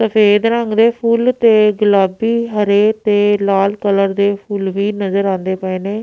ਸੁਫ਼ੇਦ ਰੰਗ ਦੇ ਫੁੱਲ ਤੇ ਗੁਲਾਬੀ ਹਰੇ ਤੇ ਲਾਲ ਕਲਰ ਦੇ ਫੁੱਲ ਵੀ ਨਜ਼ਰ ਆਉਂਦੇ ਪਏ ਨੇਂ।